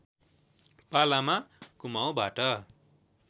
पालामा कुमाउँबाट